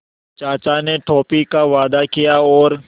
चाचा ने टॉफ़ी का वादा किया और